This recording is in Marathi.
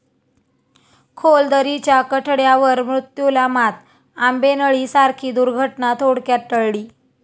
खोल दरीच्या कठड्यावर मृत्यूला मात, 'आंबेनळी' सारखी दुर्घटना थोडक्यात टळली!